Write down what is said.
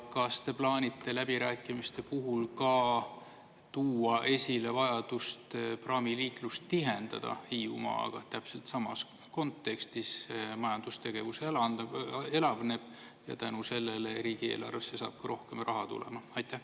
Ja kas te plaanite läbirääkimiste puhul ka tuua esile vajadust praamiliiklust tihendada Hiiumaaga täpselt samas kontekstis, et majandustegevus elavneb ja tänu sellele riigieelarvesse saab ka rohkem raha tulema?